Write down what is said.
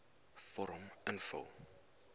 vorm invul